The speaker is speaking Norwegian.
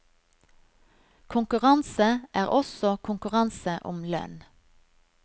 Konkurranse er også konkurranse om lønn.